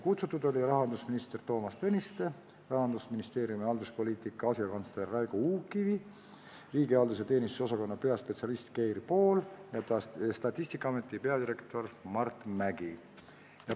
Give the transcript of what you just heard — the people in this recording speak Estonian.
Kutsutud olid rahandusminister Toomas Tõniste, Rahandusministeeriumi halduspoliitika asekantsler Raigo Uukkivi, riigihalduse ja avaliku teenistuse osakonna peaspetsialist Keir Pool ning Statistikaameti peadirektor Mart Mägi.